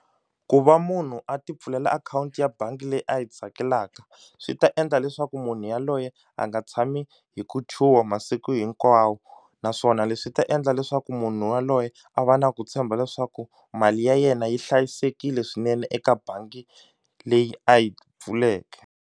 Ku va munhu a ti pfulela akhawunti ya bangi leyi a yi tsakelaka swi ta endla leswaku munhu yaloye a nga tshami hi ku chuha masiku hinkwawo naswona leswi ta endla leswaku munhu waloye a va na ku tshemba leswaku mali ya yena yi hlayisekile swinene eka bangi leyi a yi pfuleke.